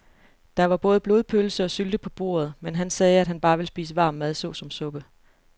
Der var både blodpølse og sylte på bordet, men han sagde, at han bare ville spise varm mad såsom suppe.